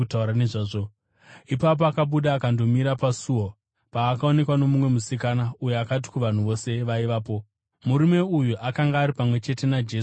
Ipapo akabuda akandomira pasuo apo paakaonekwa nomumwe musikana uyo akati kuvanhu vose vaivapo, “Murume uyu akanga ari pamwe chete naJesu weNazareta.”